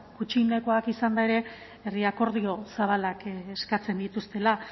gutxienekoak izanda ere herri akordio zabalak eskatzen dituztela